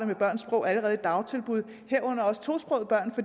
med børns sprog allerede i dagtilbuddet herunder også tosprogede børn